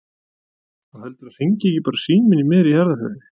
Og heldurðu að hringi ekki bara síminn í miðri jarðarförinni?